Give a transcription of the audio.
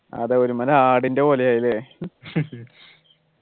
അതെ ഒരുമാതിരി ആടിൻ്റെ പോലെ ആയി അല്ലേ